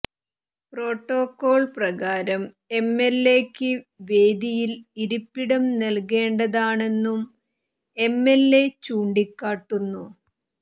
protocol പ്രകാരം എംഎൽഎക്ക് വേദിയിൽ ഇരിപ്പിടം നൽകേണ്ടതാണെന്നും എംഎൽഎ ചൂണ്ടിക്കാട്ടുന്നു